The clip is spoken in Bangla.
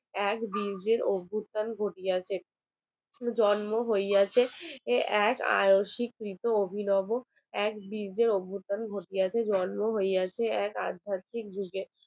জন্ম হইয়াছে এক আয়ো স্বীকৃত অভিনব এক বীর্যের অভস্থান ঘটিয়াছে জন্ম হইয়াছে আধ্যাত্মিক যুগের